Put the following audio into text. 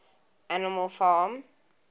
animal farm